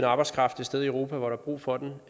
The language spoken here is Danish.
arbejdskraft et sted i europa hvor der er brug for den